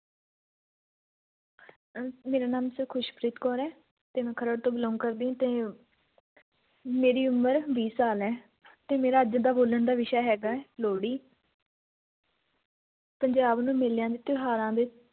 ਅਹ ਮੇਰਾ ਨਾਂ sir ਖ਼ੁਸ਼ਪ੍ਰੀਤ ਕੌਰ ਹੈ ਤੇ ਮੈਂ ਖਰੜ ਤੋਂ belong ਕਰਦੀ ਹਾਂ ਤੇ ਮੇਰੀ ਉਮਰ ਵੀਹ ਸਾਲ ਹੈ ਤੇ ਮੇਰਾ ਅੱਜ ਦਾ ਬੋਲਣ ਦਾ ਵਿਸ਼ਾ ਹੈਗਾ ਹੈ ਲੋਹੜੀ ਪੰਜਾਬ ਨੂੰ ਮੇਲਿਆਂ ਤੇ ਤਿਉਹਾਰਾਂ ਦੇ